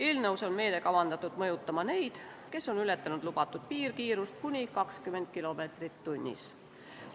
Eelnõus on meede kavandatud mõjutama neid, kes on ületanud lubatud piirkiirust kuni 20 kilomeetrit tunnis.